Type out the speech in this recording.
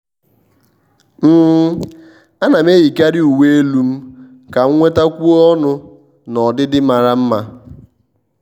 um à nà m eyíkàrị uwe elu m kà m nwetákwùọ ọnụ́ na ọdịdị màrà mma.